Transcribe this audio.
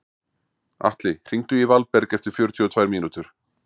Atli, hringdu í Valberg eftir fjörutíu og tvær mínútur.